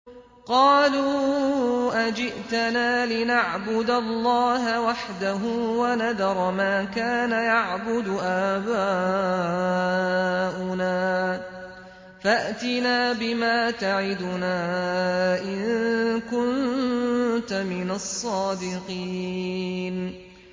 قَالُوا أَجِئْتَنَا لِنَعْبُدَ اللَّهَ وَحْدَهُ وَنَذَرَ مَا كَانَ يَعْبُدُ آبَاؤُنَا ۖ فَأْتِنَا بِمَا تَعِدُنَا إِن كُنتَ مِنَ الصَّادِقِينَ